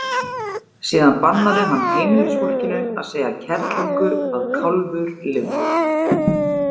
Síðan bannaði hann heimilisfólkinu að segja kerlingu að kálfur lifði.